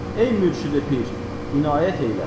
Ey mürşidi pir, inayət eylə.